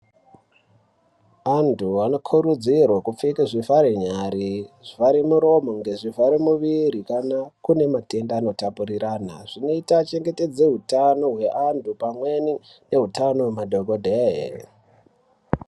Antu anokurudzirwa kupfeke zvivhare nyari, zvivhare muromo ngezvivhare muviri kana kune matenda anotapurirana. Zvinoita chengetedze hutano hwevanhu pamwe nehutano hwemadhokodheya